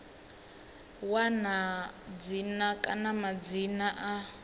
wana dzina kana madzina a